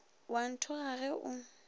o a nthoga ge o